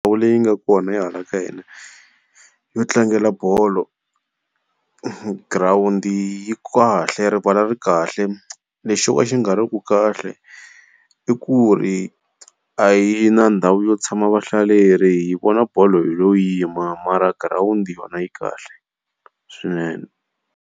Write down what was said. Ndhawu leyi nga kona ya hala ka hina yo tlangela bolo, girawundi yi kahle rivala ri kahle, lexi xo ka xi nga riki kahle i ku ri a hi na ndhawu yo tshama vahlaleri hi vona bolo hi lo yima mara girawundi yona yi kahle swinene.